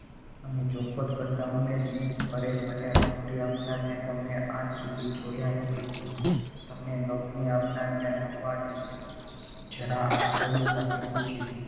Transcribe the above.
અને ચોખવટ કરતા એ અરે મને નોકરી આપનાર ને તો મેં આજ સુધી છોડ્યા નથી તમને નોકરી આપનારને લંબાડને જરા આચર્ય સાથે પૂછ્યું.